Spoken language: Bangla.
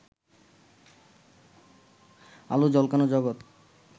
আলো ঝলকানো জগত